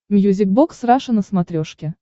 мьюзик бокс раша на смотрешке